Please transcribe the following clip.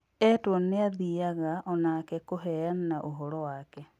Etwo niathiyaga onake kuheoana ũhoro wake